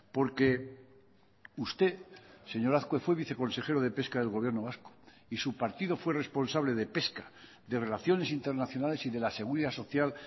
porque usted señor azkue fue viceconsejero de pesca del gobierno vasco y su partido fue responsable de pesca de relaciones internacionales y de la seguridad social